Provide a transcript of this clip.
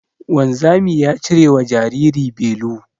Wanzami ya cirewa jariri belu